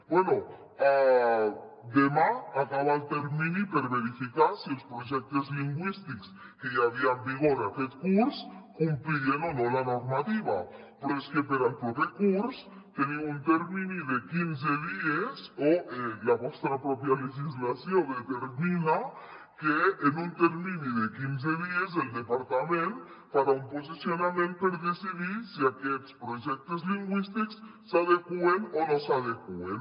bé demà acaba el termini per verificar si els projectes lingüístics que hi havia en vigor aquest curs complien o no la normativa però és que per al proper curs teniu un termini de quinze dies o la vostra pròpia legislació determina que en un termini de quinze dies el departament farà un posicionament per decidir si aquests projectes lingüístics s’adeqüen o no s’adeqüen